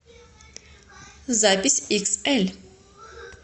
запись иксэль